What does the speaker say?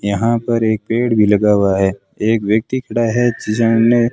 यहां पर एक पेड़ भी लगा हुआ है एक व्यक्ति खड़ा है जिसे हमने--